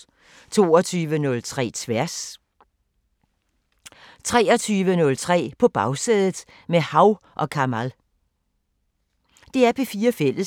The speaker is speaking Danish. DR P4 Fælles